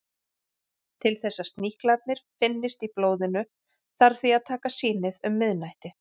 Til þess að sníklarnir finnist í blóðinu þarf því að taka sýnið um miðnætti.